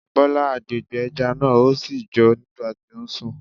Bọlá gbàgbé ẹja náà,ó sì jó nígbà tí ó ń sùn.